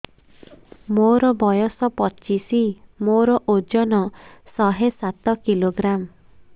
ମୋର ବୟସ ପଚିଶି ମୋର ଓଜନ ଶହେ ସାତ କିଲୋଗ୍ରାମ